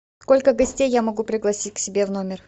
сколько гостей я могу пригласить к себе в номер